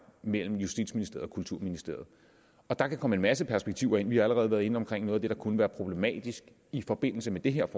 mellem justitsministeriet og kulturministeriet der kan komme en masse perspektiver ind her vi har allerede været inde omkring noget af det der kunne være problematisk i forbindelse med det her